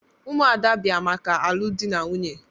Umuada bia maka alụ di na nwunye.